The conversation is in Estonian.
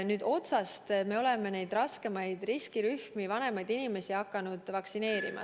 Nüüd me oleme hakanud neid riskirühmi, vanemaid inimesi vaktsineerima.